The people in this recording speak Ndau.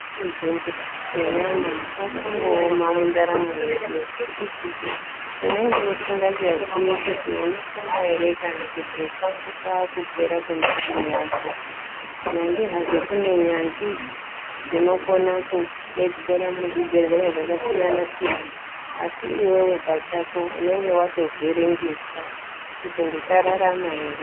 Kuzvibhehleya kwakangooma mundaramo yedu nekuti unenge usingachazii kuti unopona here kana kuti kwangu kwaakupera kwendaramo yako. Nyange hazvo kune nyanzvi dzinokona kudetsera muzvibhehleya zvakasiyana-siyana. Asi iwewe pachako unenge watovhiringika, kuti ndicharama here.